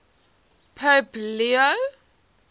pope leo